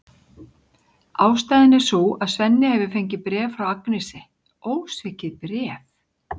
Ástæðan er sú að Svenni hefur fengið bréf frá Agnesi, ósvikið bréf!